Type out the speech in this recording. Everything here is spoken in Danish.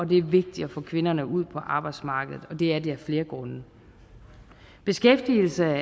det er vigtigt at få kvinderne ud på arbejdsmarkedet og det er det af flere grunde beskæftigelse er